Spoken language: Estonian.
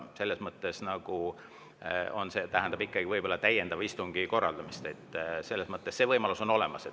See tähendab ikkagi võib-olla täiendava istungi korraldamist, see võimalus on olemas.